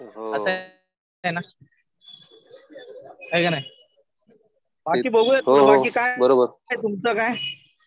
असं आहे ना. है का नाही. बाकी बघुयात. तुमचा काय?